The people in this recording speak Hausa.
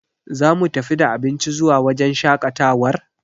Za mu tafi da abinci zuwa wajen shaƙatawar?